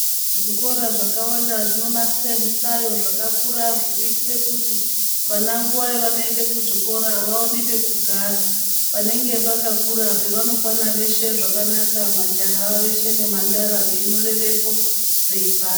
Zvikora zvakawanda zvonasira zvihlayo zvekuti vana pavanoenda kuzvikora zvepadera vaone nguwa yekugara panenge pakakura pavanokwasha peshe zvakanaka majaha veshe nemhandara majaha veshe nemhandara veinyorerepo yeipanda.